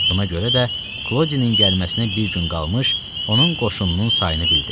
Buna görə də Klodinin gəlməsinə bir gün qalmış, onun qoşununun sayını bildi.